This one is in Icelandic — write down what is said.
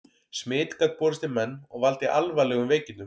Smit gat borist í menn og valdið alvarlegum veikindum.